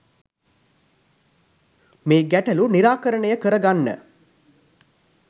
මේ ගැටළු නිරාකරණය කරගන්න